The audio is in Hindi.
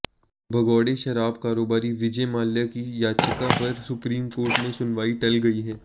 भगोड़े शराब कारोबारी विजय माल्या की याचिका पर सुप्रीम कोर्ट में सुनवाई टल गई है